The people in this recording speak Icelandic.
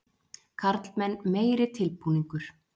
Karlmenn meiri tilbúningur.